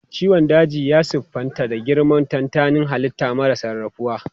Ciwon daji ya siffanta da girmar tantanin halitta mara sarrafawa.